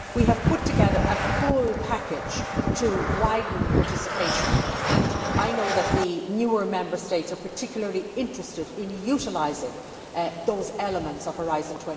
We have put together a full package to widen participation, and I know that the newer Member States are particularly interested in utilising those elements of Horizon